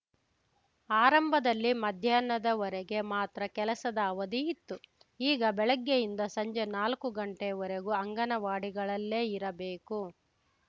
ಆರಂಭದಲ್ಲಿ ಮಧ್ಯಾಹ್ನದವರೆಗೆ ಮಾತ್ರ ಕೆಲಸದ ಅವಧಿ ಇತ್ತು ಈಗ ಬೆಳಗ್ಗೆಯಿಂದ ಸಂಜೆ ನಾಲ್ಕು ಗಂಟೆವರೆಗೂ ಅಂಗನವಾಡಿಗಳಲ್ಲೇ ಇರಬೇಕು